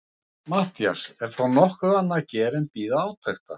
MATTHÍAS: Er þá nokkuð annað að gera en bíða átekta.